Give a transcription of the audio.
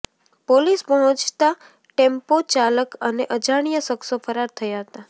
police પહોંચતા ટેમ્પોચાલક અને અજાણ્યા શખ્સો ફરાર થયા હતા